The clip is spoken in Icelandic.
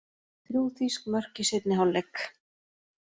Þrjú þýsk mörk í seinni hálfleik